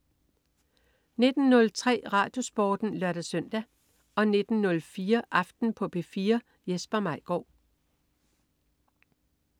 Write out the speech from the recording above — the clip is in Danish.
19.03 RadioSporten (lør-søn) 19.04 Aften på P4. Jesper Maigaard